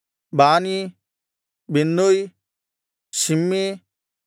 ಬಾನೀ ಬಿನ್ನೂಯ್ ಶಿಮ್ಮೀ